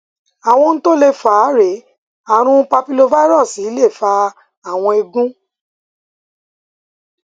àwọn ohun tó lè fà á rèé ààrùn papillomavirus lè fa àwọn ẹgún